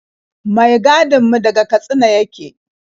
Mai gadin mu daga Katsina yake.